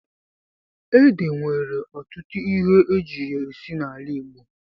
Ede nwere ọtụtụ ihe eji ya esi n'ala Igbo.